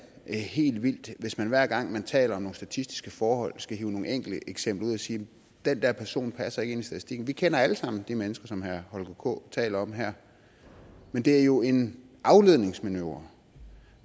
helt vildt hvis man hver gang man taler om nogle statistiske forhold skal hive nogle enkelte eksempler ud og sige den der person passer ikke ind i statistikken vi kender alle sammen de mennesker som herre holger k taler om her men det er jo en afledningsmanøvre